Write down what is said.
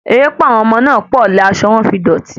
Erépá àwọn ọmọ náà pọ̀ ni asọ wọn fi dòti